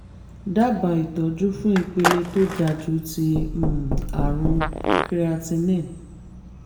dábàá ìtọ́jú fún ipele tó ga jù ti um àrùn creatinine